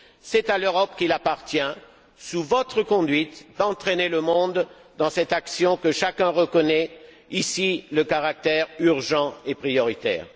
C'est à l'Europe qu'il appartient, sous votre conduite, d'entraîner le monde dans cette action dont chacun reconnaît ici le caractère urgent et prioritaire.